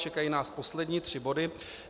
Čekají nás poslední tři body.